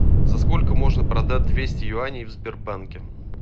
за сколько можно продать двести юаней в сбербанке